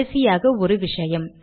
கடைசியாக ஒரு விஷயம்